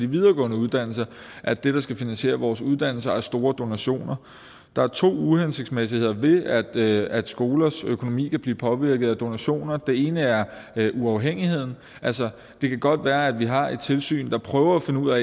videregående uddannelser at det der skal finansiere vores uddannelser er store donationer der er to uhensigtsmæssigheder ved at ved at skolers økonomi kan blive påvirket af donationer det ene er uafhængigheden altså det kan godt være at vi har et tilsyn der prøver at finde ud af